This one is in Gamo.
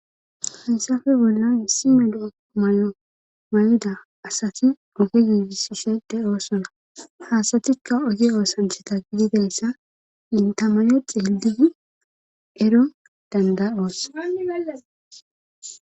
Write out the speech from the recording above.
Hessappe bollan issi medo may'o may'ida asati duge yuigisishede oosona haasatikka oge oosanchata gididayssa inta mayo xelidi ero danda'oos